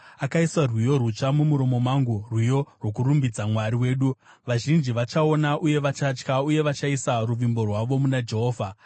Akaisa rwiyo rutsva mumuromo mangu, rwiyo rwokurumbidza Mwari wedu. Vazhinji vachaona, uye vachatya uye vachaisa ruvimbo rwavo muna Jehovha.